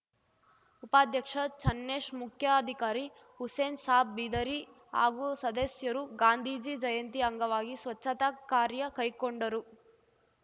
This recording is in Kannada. ಉಪಾಧ್ಯಕ್ಷ ಚನ್ನೇಶ್‌ ಮುಖ್ಯಾಧಿಕಾರಿ ಹುಸೇನ್‌ಸಾಬ್‌ ಬಿದರಿ ಹಾಗೂ ಸದಸ್ಯರು ಗಾಂಧೀಜಿ ಜಯಂತಿ ಅಂಗವಾಗಿ ಸ್ವಚ್ಛತಾ ಕಾರ್ಯ ಕೈಕೊಂಡರು